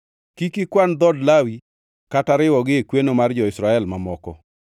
“Kik ikwan dhood Lawi kata riwogi e kweno mar jo-Israel mamoko.